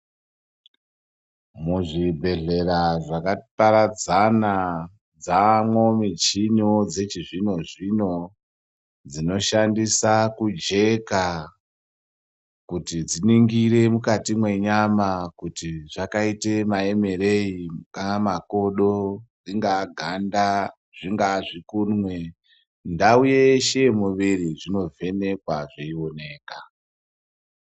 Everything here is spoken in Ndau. Muzvibhedhlera zvakaparadzana dzamwo michiniwo dzechizvino zvino dzinoshandisa kujeka kuti dziningire mukati mwenyama kuti zvakaite maemereyi angaa makodo , ringaa ganda , zvingaa zvikunwe , ndau yeshe yemuviro zvinovhenekwa zveionekwa.